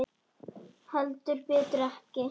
Heldur betur ekki.